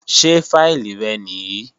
Ṣé fáìlì rẹ nìí?